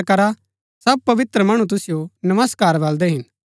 सब पवित्र मणु तुसिओ नमस्कार बलदै हिन